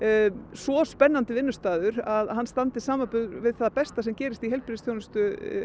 svo spennandi vinnustaður að hann standist samanburð við það besta sem gerist í heilbrigðisþjónustu